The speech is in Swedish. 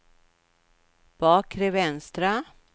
bakre vänstra